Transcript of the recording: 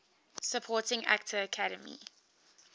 supporting actor academy